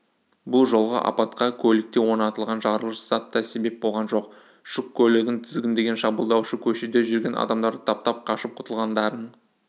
бұл жолғы апатқа көлікте орнатылған жарылғыш зат та себеп болған жоқ жүк көлігін тізгіндеген шабуылдаушы көшеде жүрген адамдарды таптап қашып құтылғандарын